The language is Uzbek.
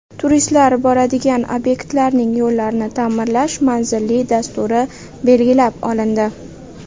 Turistlar boradigan obyektlarning yo‘llarini ta’mirlash manzilli dasturi belgilab olindi.